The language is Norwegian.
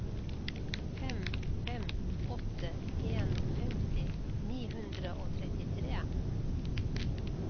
fem fem åtte en femti ni hundre og trettitre